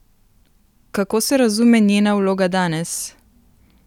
Kako se razume njena vloga danes?